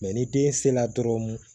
ni den se la dɔrɔn